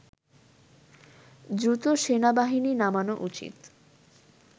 দ্রুত সেনাবাহিনী নামানো উচিত